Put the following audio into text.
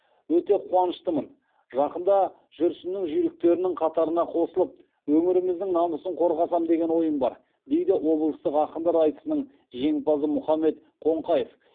өте қуаныштымын жақында жүрсіннің жүйріктерінің қатарына қосылып өңіріміздің намысын қорғасам деген ойым бар дейді облыстық ақындар айтысының жеңімпазы мұхаммед қоңқаев